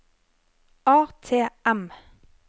ATM